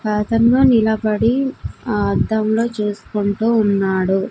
లో నిలబడి ఆ అద్దంలో చూసుకుంటూ ఉన్నాడు.